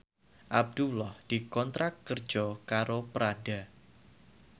Abdullah dikontrak kerja karo Prada